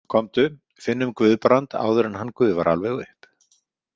Komdu, finnum Guðbrand áður en hann gufar alveg upp.